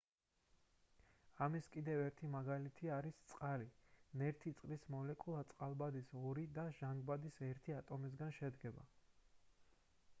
ამის კიდევ ერთი მაგალითი არის წყალი ნერთი წყლის მოლეკულა წყალბადის ორი და ჟანგბადის ერთი ატომისგან შედგება